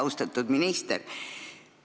Austatud minister!